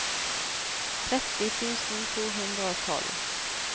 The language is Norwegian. tretti tusen to hundre og tolv